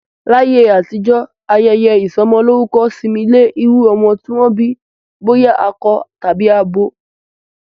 Láyé àtijọ́, ayẹyẹ isọmọlórúkọ sinmi lé iru ọmọ ti wọn bi boya akọ tàbí abo